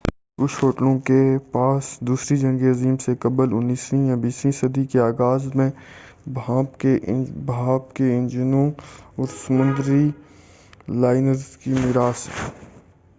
کچھ ہوٹلوں کے پاس دوسری جنگ عظیم سے قبل 19 ویں یا 20 ویں صدی کے آغاز میں بھانپ کے انجنوں اور سمندری لائنرز کی مِیراث ہیں